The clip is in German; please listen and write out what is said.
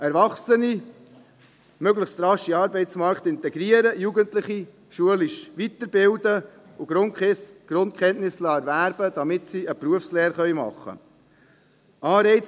Das heisst, Erwachsene möglichst rasch in den Arbeitsmarkt zu integrieren, Jugendliche schulisch weiterzubilden und sie Grundkenntnisse erwerben zu lassen, damit sie eine Berufslehre machen können.